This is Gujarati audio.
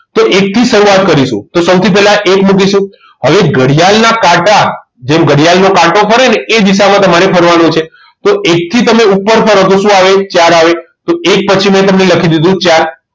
તો એક થી શરૂઆત કરીશું તો સૌથી પહેલા એક મુકીશું હવે ઘડિયાળ ના કાંટા જેમ ઘડિયાળ નો કાંટો ફરે ને એ દિશામાં તમારે ફરવાનું છે તો એક થી તમે ઉપર ફરો તો શું આવે ચાર આવે તો એક પછી તમને લખી દીધું ચાર